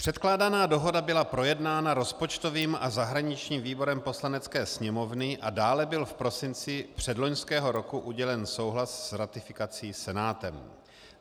Předkládaná dohoda byla projednána rozpočtovým a zahraničním výborem Poslanecké sněmovny a dále byl v prosinci předloňského roku udělen souhlas s ratifikací Senátem.